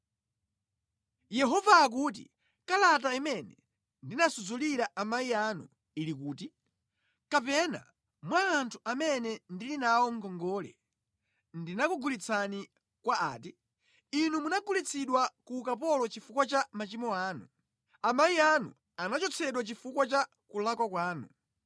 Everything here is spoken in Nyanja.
Yehova akuti, “Kalata imene ndinasudzulira amayi anu ili kuti? Kapena mwa anthu amene ndili nawo ngongole, ndinakugulitsani kwa ati? Inu munagulitsidwa ku ukapolo chifukwa cha machimo anu; amayi anu anachotsedwa chifukwa cha kulakwa kwanu.